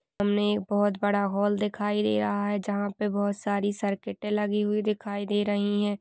हमने बहोत बड़ा हॉल दिखाई दे रहा है जहाँ पे बहोत सारी सर्किटे लगी हुई दिखाई दे रही है।